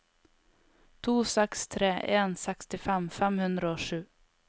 to seks tre en sekstifem fem hundre og sju